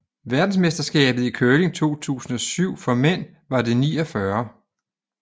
Verdensmesterskabet i curling 2007 for mænd var det 49